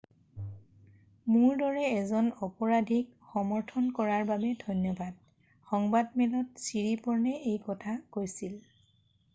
"""মোৰ দৰে এজন অপৰাধীক সমৰ্থন কৰাৰ বাবে ধন্যবাদ," সংবাদমেলত ছিৰিপ'ৰ্ণে এই কথা কৈছিল।""